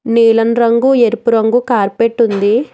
నీలం రంగు ఎరుపు రంగు కార్పెట్ ఉంది.